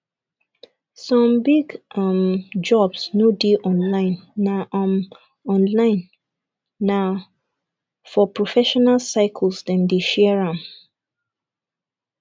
some big um jobs no dey online na um online na um for professional circles dem dey share am